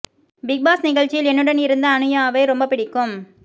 big Boss நிகழ்ச்சியில் என்னுடன் இருந்த அனுயாவை ரொம்ப பிடிக்கும்